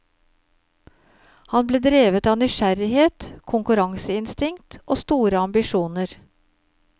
Han ble drevet av nysgjerrighet, konkurranseinstinkt og store ambisjoner.